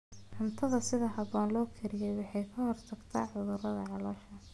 Cuntada si habboon loo kariyey waxay ka hortagtaa cudurrada caloosha.